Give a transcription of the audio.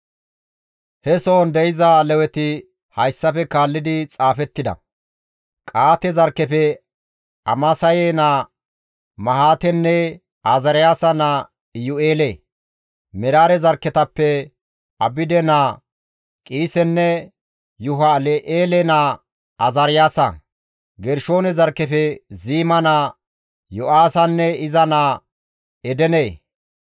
He sohon de7iza Leweti hayssafe kaallidi xaafettida. Qa7aate zarkkefe Amasaye naa Mahaatenne Azaariyaasa naa Iyu7eele. Meraare zarkketappe Abide naa Qiisenne Yuhalel7eele naa Azaariyaasa. Gershoone zarkkefe Ziima naa Yo7aahanne iza naa Edene.